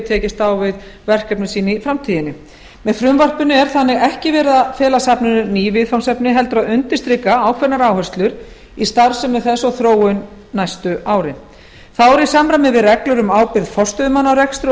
tekist á við verkefni sín í framtíðinni með frumvarpinu eru safninu þannig ekki falin ný viðfangsefni heldur undirstrikaðar ákveðnar áherslur í starfsemi þess og þróun næstu árin þá er í samræmi við reglur um ábyrgð forstöðumanna á rekstri og